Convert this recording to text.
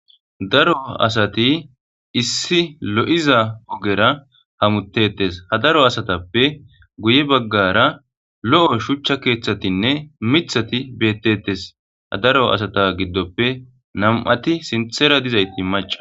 daro asati issi lo7iza ogera hamutetes ha daro asatappe guye baggara lo7o shuchcha keeththatinne mithati beettetes ha daro asata giddoppe nam7ati sinthera dizayti maca